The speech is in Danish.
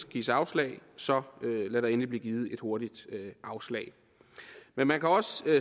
gives afslag så lad der endelig blive givet et hurtigt afslag men man kan også